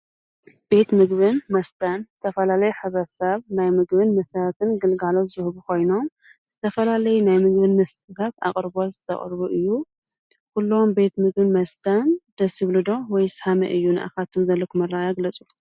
ቤት ምግብን መስተን ዝተፈላለዩ ሕብረተሰባት ናይ ምግብን መሰረትን ግልጋሎት ዝህቡ ኮይኖም ዝተፈላለዩ ናይ ምግብን መስተን ኣቅርቦ ዘቅርቡሉ። ኩሎም ቤት ምግበን መስተን ደስ ይብሉ ዶ ከመይ እዩ ንኣካትኩም ዘለኩም ኣረኣእያ ግለፁ?